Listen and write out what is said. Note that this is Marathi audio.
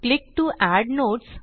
click to add notes